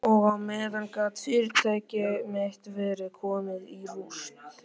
Og á meðan gat fyrirtæki mitt verið komið í rúst.